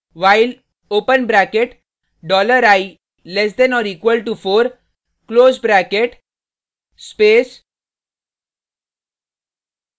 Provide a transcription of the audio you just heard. while open bracket dollar i less than or equal to four close bracket space